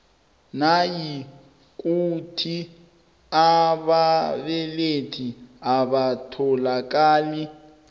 nayikuthi ababelethi abatholakali